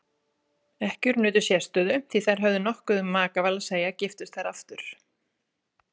Ekkjur nutu sérstöðu því þær höfðu nokkuð um makaval að segja giftust þær aftur.